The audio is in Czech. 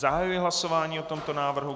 Zahajuji hlasování o tomto návrhu.